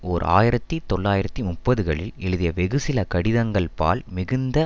ஓர் ஆயிரத்தி தொள்ளாயிரத்தி முப்பதுகளில் எழுதிய வெகுசில கடிதங்கள்பால் மிகுந்த